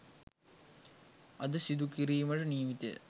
අද සිදු කිරීමට නියමිතය